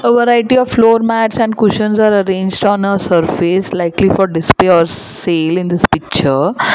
Variety of floor mats and cushions are arranged on a surface likely for display or sale in this picture.